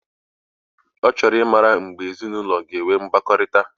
Ochoro imma mgeb ezi na ulo ga enwe mgbakorita.